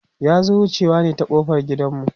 ya zo wucewa ne ƙofar gidan mu